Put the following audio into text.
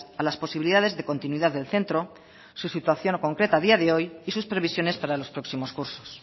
a las posibilidades de continuidad del centro su situación concreta a día de hoy y sus previsiones para los próximos cursos